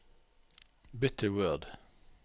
bytt til Word